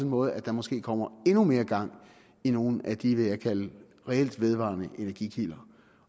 måde at der måske kommer endnu mere gang i nogle af de vil kalde reelt vedvarende energikilder